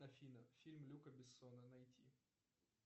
афина фильм люка бессона найти